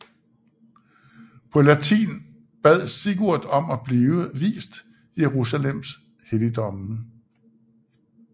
På latin bad Sigurd om at blive vist Jerusalems helligdomme